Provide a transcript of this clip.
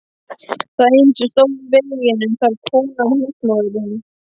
Það eina sem stóð í veginum var konan, húsmóðirin.